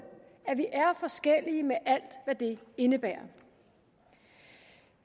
at vi er forskellige med alt hvad det indebærer